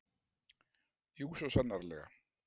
Jú, svo sannarlega!